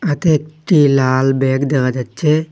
হাতে একটি লাল ব্যাগ দেখা যাচ্ছে।